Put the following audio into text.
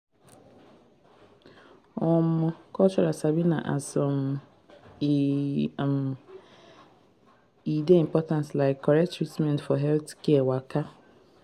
omo cultural sabi na as um e um dey important like correct treatment for healthcare waka.